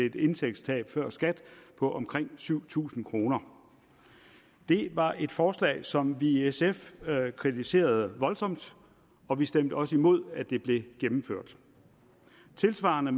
et indtægtstab før skat på omkring syv tusind kroner det var et forslag som vi i sf kritiserede voldsomt og vi stemte også imod at det blev gennemført tilsvarende